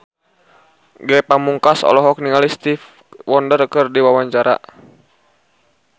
Ge Pamungkas olohok ningali Stevie Wonder keur diwawancara